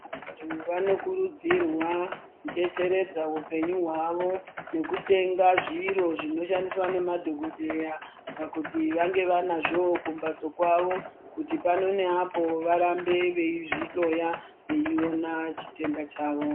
Vantu vanokurudzirwa kudetseredza upenyu hwawo nekutenga zviro zvinoshandiswa nemadhogodheya kuti vange vanazvowo kumbatso kwavo kuti pano neapo varambe veizvihloya veiona chitenda chavo.